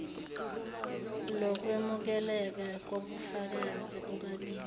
lokwemukeleka kobufakazi kukabili